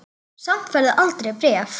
Samt færð þú aldrei bréf.